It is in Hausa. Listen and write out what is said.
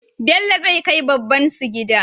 Bello zai kai babbansu gida